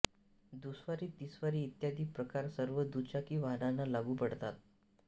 दुस्वारी तिस्वारी इत्यादी प्रकार सर्व दुचाकी वाहनांना लागू पडतात